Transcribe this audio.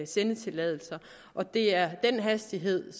sendetilladelser og det er den hastighed